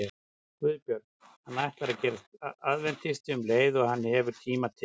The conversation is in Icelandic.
GUÐBJÖRG: Hann ætlar að gerast aðventisti um leið og hann hefur tíma til.